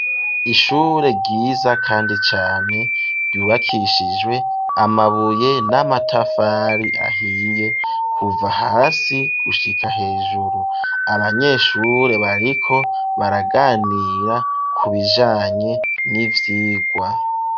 Ishure ryiza kandi cane ryubakishijwe amabuye n'amatafari ahiye kuva hasi gushika hejuru. Abanyeshure bariko baraganira ku bijanye n'ivyigwa.